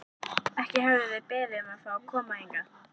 Ekki höfðu þeir beðið um að fá að koma hingað.